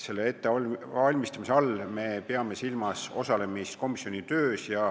Selle ettevalmistamise all me peame silmas osalemist komisjoni töös.